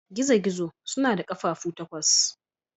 Gizo-gizo suna da ƙafafu takwas.